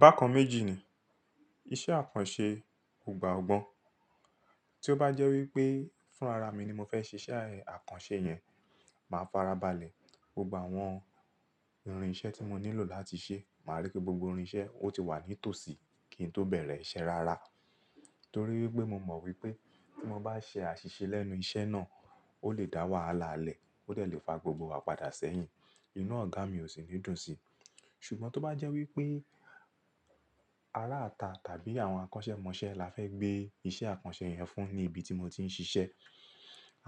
Bákan méjì ni iṣẹ́ àkànṣe ò gba ògbọ́n. Tí ó bá jẹ́ wí pé fúnra ra mi ni mo fẹ́ ṣe iṣẹ́ àkànṣe yẹn, màá farabalẹ̀, gbogbo àwọn irinṣẹ́ tí mo nílò láti ṣẹ́, màá rí pé gbogbo irinṣẹ́ ó ti wà ní tòsí kí n tó bẹ̀rẹ̀ iṣẹ́ rara. Torí wipé mo mọ̀ wípé tí mo bá ṣe àṣìṣe lẹ́nu iṣẹ́ náà, ó lè dá wàhálà lẹ, ó dẹ lè fa gbogbo wa padà sẹ́yìn, inú ọ̀gá mi ò sì ní dùn sí. Ṣùgbọ́n tó bá jẹ́ wípé ará ita tàbí àwọn akọ́ṣẹ́mọṣẹ́ la fẹ́ gbé iṣẹ́ àkànṣe yẹn fún ní ibi tí mo ti ń ṣiṣẹ́,